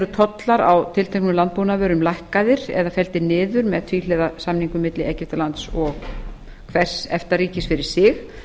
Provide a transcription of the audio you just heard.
eru tollar á tilteknum landbúnaðarvörum lækkaðir eða felldir niður með tvíhliða samningum milli egyptalands og hvers efta ríkis fyrir sig